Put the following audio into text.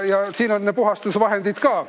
Ja siin on puhastusvahendid ka.